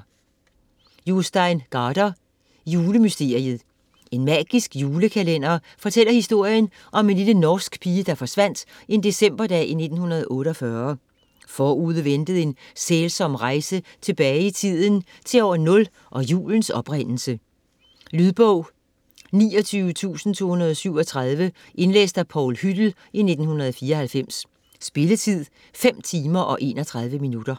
Gaarder, Jostein: Julemysteriet En magisk julekalender fortæller historien om en lille norsk pige, der forsvandt en decemberdag i 1948. Forude ventede en sælsom rejse tilbage i tiden - til år 0 og julens oprindelse. Lydbog 29237 Indlæst af Paul Hüttel, 1994. Spilletid: 5 timer, 31 minutter.